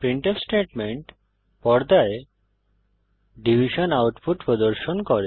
printf statement পর্দায় division output প্রদর্শন করে